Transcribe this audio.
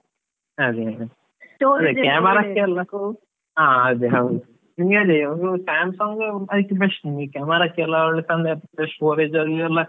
ಅದೆ ಅದೇ, ಹಾ ಅದೇ ಹೌದು, ನಿಮ್ಗೆ ಅದೇ ಒಂದು Samsung ಅದ್ಕೆ best camera ಕ್ಕೆಲ ಚಂದ storage ಅಲ್ಲಿ ಎಲ್ಲ ಅದ್ಕೆ.